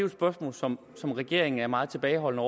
et spørgsmål som som regeringen er meget tilbageholdende